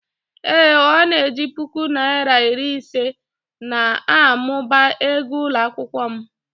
Ee Ọ na-eji puku naịra iri ise na-amụba ego ụlọ akwụkwọ m